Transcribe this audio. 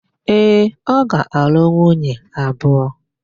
Ee, ọ ga-alụ nwunye abụọ.